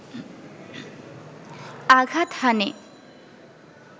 আঘাত হানে